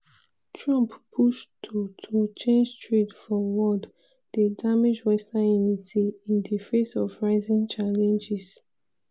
trump push to to change trade for world dey damage western unity in di face of rising challenges.